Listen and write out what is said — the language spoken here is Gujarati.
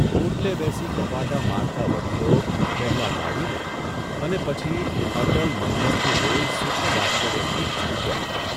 ઓટલે બેસી ગપાટા મારતાં વડીલો પહેલાં ગાડીને અને પછી અટલ મન્મથને જોઇ સુખદ આશ્ચર્યથી ચોંક્યાં.